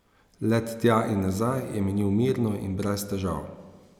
Let tja in nazaj je minil mirno in brez težav.